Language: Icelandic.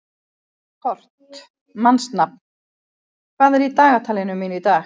Kort (mannsnafn), hvað er í dagatalinu mínu í dag?